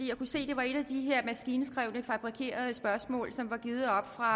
jeg kunne se at det var et af de her maskinskrevne fabrikerede spørgsmål som er givet oppe fra